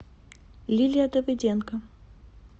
лилия давыденко